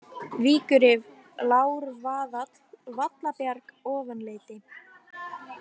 Víkurrif, Lárvaðall, Vallabjarg, Ofanleiti